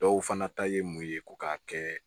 Dɔw fana ta ye mun ye ko k'a kɛ